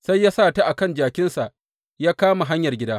Sai ya sa ta a kan jakinsa ya kama hanyar gida.